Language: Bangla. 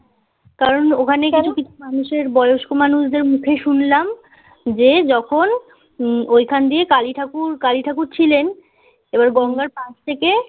কারণ ওখানে গিয়ে কিছু কিছু মানুষের কিছু বয়ষ্ক মানুষদের মুখে শুনলাম যে, যখন উম ঐখান দিয়ে কালি ঠাকুর কালি ঠাকুর ছিলেন, এবার গঙ্গার পাশ থেকে